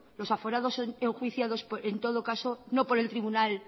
los aforados son enjuiciados en todo caso no por el tribunal